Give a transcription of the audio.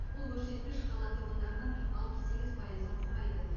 бұл көрсеткіш қала тұрғындарының алпыс сегіз пайызын құрайды